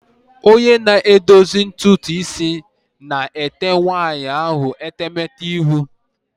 Onye na-edozi ntutu isi na-ete nwaanyị ahụ etemete ihu.